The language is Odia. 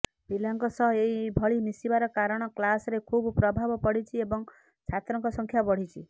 ପିଲାଙ୍କ ସହ ଏହି ଭଳି ମିଶିବାର କାରଣ କ୍ଲାସରେ ଖୁବ୍ ପ୍ରଭାବ ପଡିଛି ଏବଂ ଛାତ୍ରଙ୍କ ସଂଖ୍ୟା ବଢିଛି